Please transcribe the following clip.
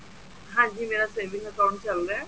ਹਾਂਜੀ ਮੇਰਾ saving account ਚੱਲਦਾ